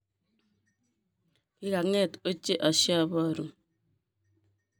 kigangeet ochei ashibaru